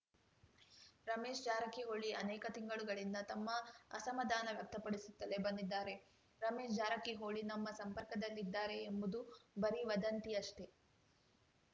ರಮೇಶ್‌ ಜಾರಕಿಹೊಳಿ ಅನೇಕ ತಿಂಗಳುಗಳಿಂದ ತಮ್ಮ ಅಸಮಾಧಾನ ವ್ಯಕ್ತಪಡಿಸುತ್ತಲೇ ಬಂದಿದ್ದಾರೆ ರಮೇಶ್‌ ಜಾರಕಿಹೊಳಿ ನಮ್ಮ ಸಂಪರ್ಕದಲ್ಲಿದ್ದಾರೆ ಎಂಬುದು ಬರೀ ವದಂತಿಯಷ್ಟೆ